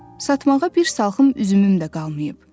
Satmağa bir salxım üzümüm də qalmayıb.